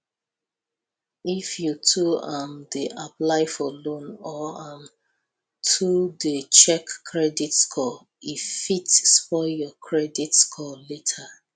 if you too um dey apply for loan or um too dey check credit score e fit spoil your credit score later